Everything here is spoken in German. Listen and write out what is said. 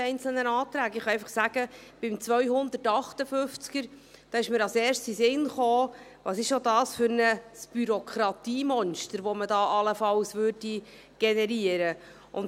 Ich kann einfach sagen, dass mir bei Artikel 258 als Erstes in den Sinn kam, was für ein Bürokratiemonster man da allenfalls generieren würde.